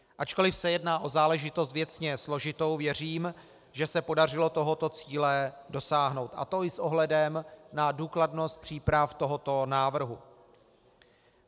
Ačkoli se jedná o záležitost věcně složitou, věřím, že se podařilo tohoto cíle dosáhnout, a to i s ohledem na důkladnost příprav tohoto návrhu.